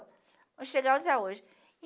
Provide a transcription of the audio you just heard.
Até chegar onde está hoje.